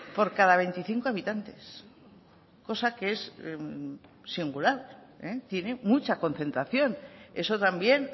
por cada veinticinco habitantes cosa que es singular tiene mucha concentración eso también